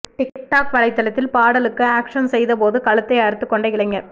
tic tac வலைதளத்தில் பாடலுக்கு action செய்த போது கழுத்தை அறுத்து கொண்ட இளைஞர்